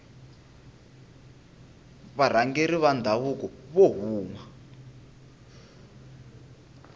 varhangeri va ndhavuko vo huma